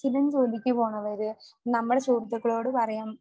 സ്ഥിരം ജോലിക്കു പോകുന്നവര്